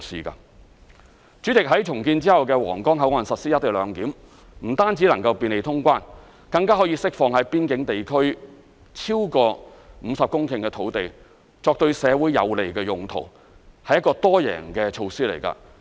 代理主席，在重建後的皇崗口岸實施"一地兩檢"，不但能夠便利通關，更可釋放在邊境地區超過20公頃的土地，作對社會有利的用途，是一個多贏的措施。